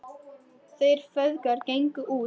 Þeir feðgar gengu út.